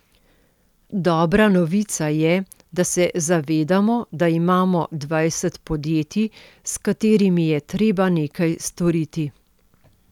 Dobra novica je, da se zavedamo, da imamo dvajset podjetij, s katerimi je treba nekaj storiti.